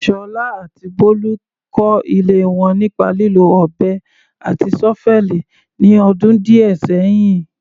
Sola àti Bolu kọ́ ilé wọn nípa lílo ọ̀bẹ àti ṣọ́fẹ́ẹ̀lì ní ọdún díẹ̀ sẹ́yìn.